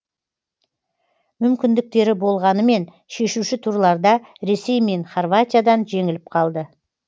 мүмкіндіктері болғанымен шешуші турларда ресей мен хорватиядан жеңіліп қалды